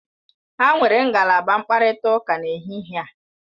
Ha nwere ngalaba mkparịta ụka n'ehihie a.